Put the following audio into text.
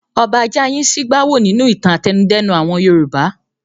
Ọba Jáayin ṣí bá wò nínú ìtàn àtẹnudẹ́nu àwọn Yorùbá.